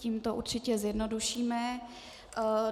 Tím to určitě zjednodušíme.